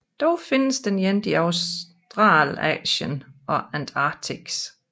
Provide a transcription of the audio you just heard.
Dog findes den ikke i Australasien og Antarktis